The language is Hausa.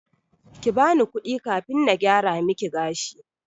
Kibani kudi kafin na gyara miki gashi.